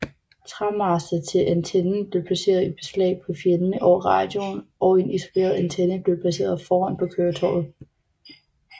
Træmaster til antennen blev placeret i beslag på fjælene over radioen og en isoleret antenne blev placeret foran på køretøjet